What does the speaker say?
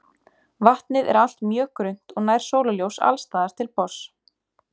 Vatnið er allt mjög grunnt og nær sólarljós alls staðar til botns.